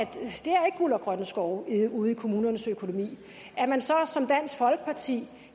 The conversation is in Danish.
guld og grønne skove ude i kommunernes økonomi at man så som dansk folkeparti